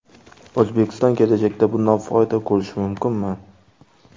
O‘zbekiston kelajakda bundan foyda ko‘rishi mumkinmi?